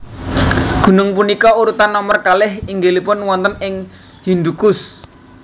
Gunung punika urutan nomer kalih inggilipun wonten ing Hindukush